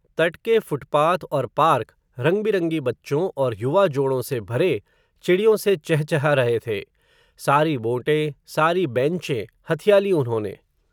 तट के फ़ुटपाथ और पार्क, रंग बिरंगे बच्चों, और युवा जोड़ों से भरे, चिड़ियों से चह चहा रहे थे, सारी बोटें सारी बैंचें, हथिया लीं उन्होंने